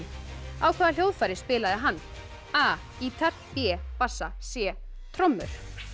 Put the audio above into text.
á hvaða hljóðfæri spilaði hann a gítar b bassa c trommur